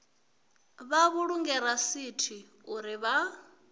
vha vhulunge rasithi uri vha